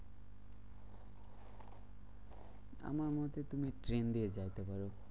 আমার মনে হচ্ছে তুমি ট্রেন দিয়ে যাইতে পারো।